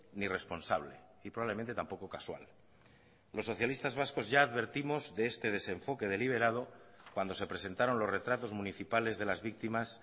ni responsable y probablemente tampoco casual los socialistas vascos ya advertimos de este desenfoque deliberado cuando se presentaron los retratos municipales de las víctimas